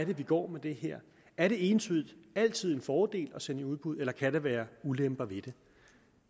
vi går med det her er det entydigt altid en fordel at sende i udbud eller kan der være ulemper ved det